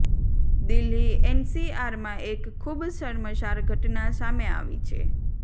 દિલ્હી એનસીઆરમાં એક ખૂબ શર્મસાર ઘટના સામે આવી છે